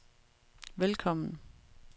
velkommen